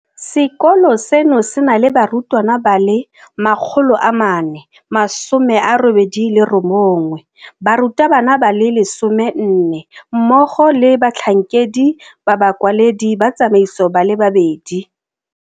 Sekolo seno se na le barutwana ba le 489, barutabana ba le 14, mmogo le batlhankedi ba bakwaledi ba tsamaiso ba le babedi.